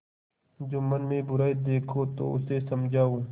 जुम्मन में बुराई देखो तो उसे समझाओ